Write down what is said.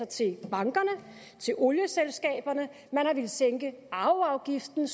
til bankerne og olieselskaberne man har villet sænke arveafgiften